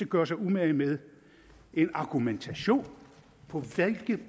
gøre sig umage med en argumentation